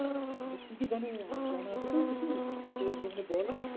মানে কি কি জানিস জানা আছে তোর কিছু সে একটুখানি বল।